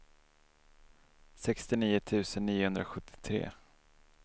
sextionio tusen niohundrasjuttiotre